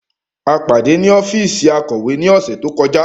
A pade ni ọfiisi Akọwe ni ọsẹ to kọja.